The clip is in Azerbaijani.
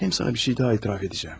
Həm sənə bir şey daha etiraf edəcəyəm.